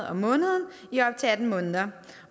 om måneden i op til atten måneder